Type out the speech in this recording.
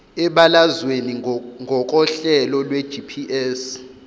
ebalazweni ngokohlelo lwegps